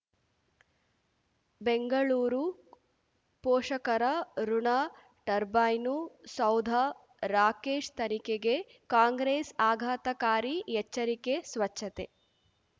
ಬೆಂಗಳೂರು ಪೋಷಕರಋಣ ಟರ್ಬೈನು ಸೌಧ ರಾಕೇಶ್ ತನಿಖೆಗೆ ಕಾಂಗ್ರೆಸ್ ಆಘಾತಕಾರಿ ಎಚ್ಚರಿಕೆ ಸ್ವಚ್ಛತೆ